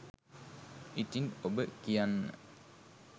ඉතින් ඔබ කියන්න